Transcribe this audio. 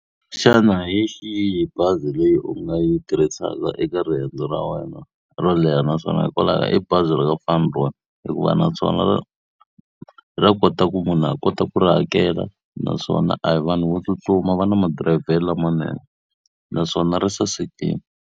Xana hi xihi bazi leyi u nga yi tirhisaka eka riendzo ra wena ro leha naswona hikwalaho ka yini? I bazi ra ka hikuva naswona ra ra kota ku munhu a kota ku ri hakela, naswona a hi vanhu vo tsutsuma va na madirayivhelo lamanene. Naswona ri sasekile.